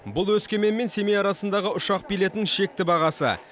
бұл өскемен мен семей арасындағы ұшақ билетінің шекті бағасы